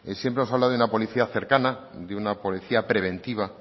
siempre nos habla de una policía cercana de una policía preventiva